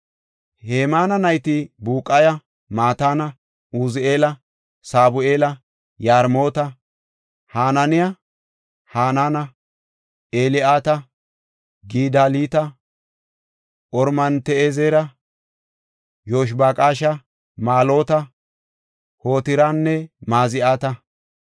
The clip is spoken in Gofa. Hemaana nayti Buqaya, Mataana, Uzi7eela, Sabu7eela, Yarmoota, Hanaaniya, Hanaana, Eli7aata, Gidalta, Oromanti7ezera, Yoshbaqaasha, Maalota, Hotiranne Mazi7aata.